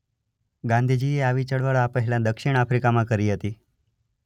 ગાંધીજી એ આવી ચળવળ આ પહેલાં દક્ષિણ આફ્રીકામાં કરી હતી.